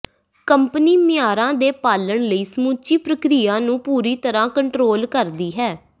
company ਮਿਆਰਾਂ ਦੇ ਪਾਲਣ ਲਈ ਸਮੁੱਚੀ ਪ੍ਰਕਿਰਿਆ ਨੂੰ ਪੂਰੀ ਤਰ੍ਹਾਂ ਕੰਟਰੋਲ ਕਰਦੀ ਹੈ